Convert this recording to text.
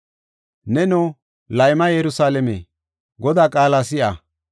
Neno, layma yerusalaame Godaa qaala si7a.